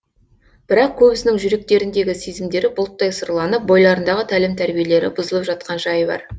бірақ көбісінің жүректеріндегі сезімдері бұлттай сұрланып бойларындағы тәлім тәрбиелері бұзылып жатқан жайы бар